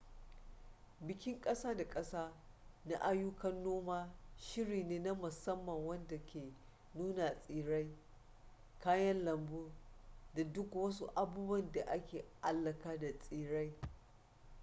bikin kasa-da-kasa na ayyukan noma shiri ne na musamman wanda ke nuna tsirrai kayan lambu da duk wasu abubuwa da ke alaka da tsirrai